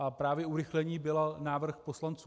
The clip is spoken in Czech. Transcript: A právě urychlení byl návrh poslanců.